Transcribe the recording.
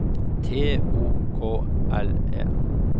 T O K L E